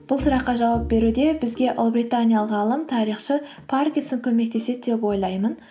бұл сұраққа жауап беруде бізге ұлыбританиялық ғалым тарихшы паркинсон көмектеседі деп ойлаймын